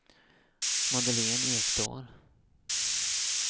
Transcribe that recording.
Madeleine Ekdahl